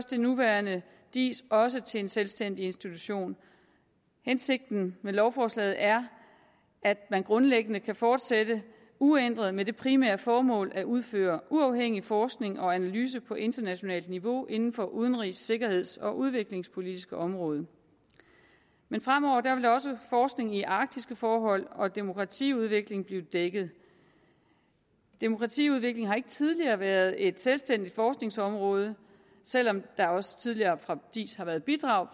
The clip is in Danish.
den nuværende diis også gøres til en selvstændig institution hensigten med lovforslaget er at man grundlæggende kan fortsætte uændret med det primære formål at udføre uafhængig forskning og analyse på internationalt niveau inden for det udenrigs sikkerheds og udviklingspolitiske område men fremover vil også forskning i arktiske forhold og demokratiudvikling blive dækket demokratiudvikling har ikke tidligere været et selvstændigt forskningsområde selv om der også tidligere fra diis har været bidrag